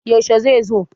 yaushe zai zo?